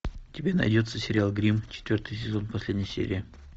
у тебя найдется сериал гримм четвертый сезон последняя серия